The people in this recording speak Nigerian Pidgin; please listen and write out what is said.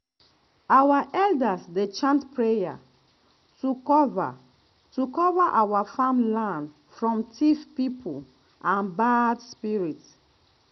our elders dey chant prayer to cover to cover our farm land from thief people and bad spirits.